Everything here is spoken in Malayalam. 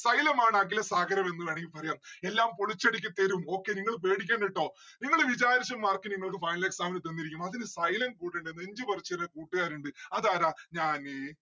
xylom ആണ് അഖിലസാഗരമെന്ന് വേണെങ്കി പറയാ. എല്ലാം പൊളിച്ചടുക്കി തരും okay നിങ്ങള് പേടിക്കേണ്ട ട്ടോ. നിങ്ങള് വിചാരിച്ച mark നിങ്ങൾക്ക് final exam ന് തന്നിരിക്കും. അതിന് xylom കൂടെ ഇണ്ട് നെഞ്ച് പറിച്ചേരാൻ കൂട്ട്കാരിണ്ട്‌ അതാരാ? ഞാന്